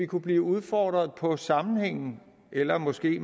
kunne blive udfordret på sammenhængen eller måske